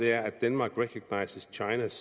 er denmark recognizes china’s